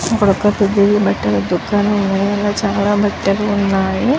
ఇక్కడ వక పువ్ల దుకాణము కూడా ఉనది చాల బాటలు ఉనయ్యి.